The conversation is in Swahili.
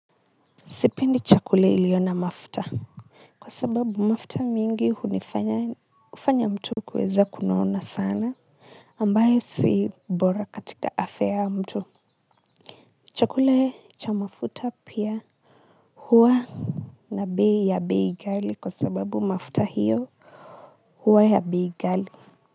Sipendi chakula iliyo na mafuta. Kwa sababu mafuta mingi hunifanya, hufanya mtu kuweza kunona sana ambayo si bora katika afya ya mtu. Chakula cha mafuta pia, huwa, na bei ya bei ghali kwa sababu mafuta hio huwa ya bei ghali.